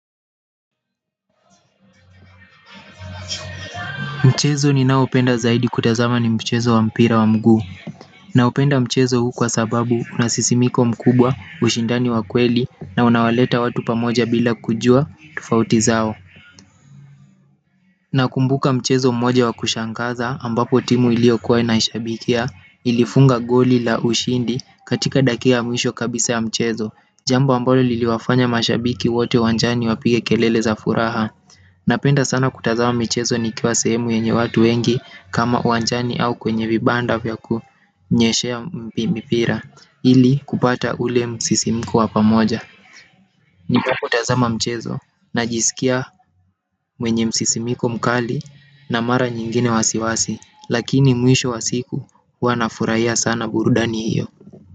Mchezo ninaopenda zaidi kutazama ni mchezo wa mpira wa mguu. Naupenda mchezo huu kwa sababu unasisimiko mkubwa, ushindani wa kweli na unawaleta watu pamoja bila kujuwa, tofauti zao. Na kumbuka mchezo mmoja wa kushangaza ambapo timu niliokuwa naishabikia ilifunga goli la ushindi katika dakika mwisho kabisa ya mchezo. Jambo ambalo liliwafanya mashabiki wote uwanjani wapige kelele za furaha. Napenda sana kutazama mchezo nikiwa sehemu yenye watu wengi kama uwanjani au kwenye vibanda vyaku onyeshea mpi mipira. Ili kupata ule msisimiko wapamoja nipokutazama mchezo najisikia mwenye msisimiko mkali na mara nyingine wasiwasi. Lakini mwisho wa siku wanafurahia sana burudani hiyo.